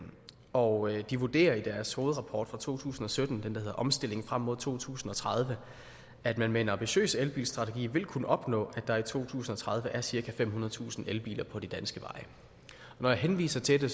og de vurderer i deres hovedrapport fra to tusind og sytten den der hedder omstilling frem mod to tusind og tredive at man med en ambitiøs elbilstrategi vil kunne opnå at der i to tusind og tredive er cirka femhundredetusind elbiler på de danske veje når jeg henviser til det